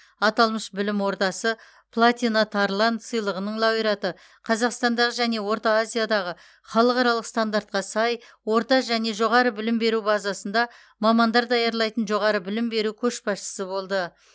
аталмыш білім ордасы платина тарлан сыйлығының лауреаты қазақстандағы және орта азиядағы халықаралық стандартқа сай орта және жоғары білім беру базасында мамандар даярлайтын жоғары білім беру көшбасшысы болды